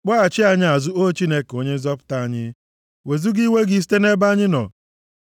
Kpọghachi anyị azụ, O Chineke, Onye Nzọpụta anyị, wezuga iwe gị site nʼebe anyị nọ.